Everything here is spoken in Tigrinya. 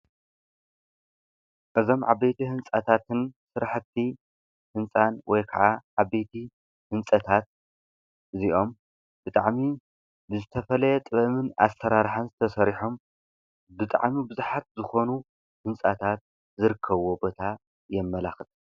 እዞም ዓበይቲ ህንፀታትን ስራሕቲ ህንፃታት ወይ ካዓ ዓበይቲ ህፀታት እዝኦም ብጣዕሚ ንተተዝተፈላለዩ ጥበብን ኣሰራርሓን ተሰሪሖም ብዝሓት ዓበይቲ ህንፃታት ዝርከቡዎም ቦታ የመልክት።